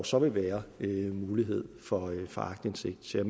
så vil være mulighed for aktindsigt så jeg